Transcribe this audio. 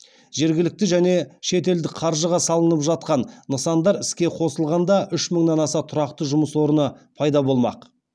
жергілікті және шетелдік қаржыға салынып жатқан нысандар іске қосылғанда үш мыңнан аса тұрақты жұмыс орны пайда болмақ